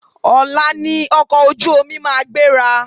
Ọ̀la ni ọkọ̀ ojú omi ma gbéra.